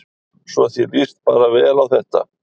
Svo þér líst bara vel á þetta?